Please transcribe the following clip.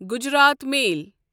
Gujarat میل